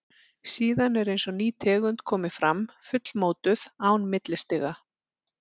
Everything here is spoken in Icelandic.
Síðan er eins og ný tegund komi fram, fullmótuð, án millistiga.